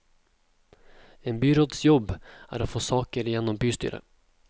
En byråds jobb er å få saker gjennom bystyret.